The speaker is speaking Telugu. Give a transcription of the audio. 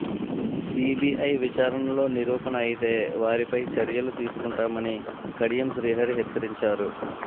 సిబిఐ విచారణలో నిరూపణఅయితే వారిపై చర్యలు తీసుకుంటామని కడియం శ్రీహరి హెచ్చరించారు